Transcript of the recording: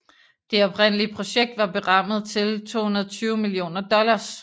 Det oprindelige projekt var berammet til 220 millioner dollars